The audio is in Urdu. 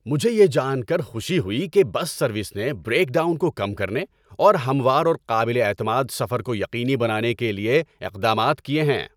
مجھے یہ جان کر خوشی ہوئی کہ بس سروس نے بریک ڈاؤن کو کم کرنے، اور ہموار اور قابل اعتماد سفر کو یقینی بنانے کے لیے اقدامات کیے ہیں۔